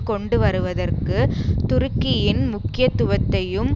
கொண்டு வருவதற்கு துருக்கியின் முக்கியத்துவத்தையும்